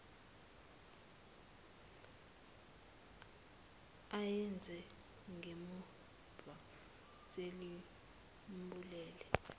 awenze ngemumva selimbulele